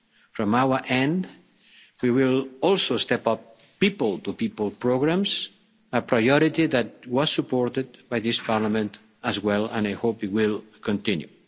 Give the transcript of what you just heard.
From our end we will also step up people to people programmes a priority that was supported by this Parliament as well and one I hope will continue.